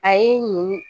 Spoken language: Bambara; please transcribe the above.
A ye nin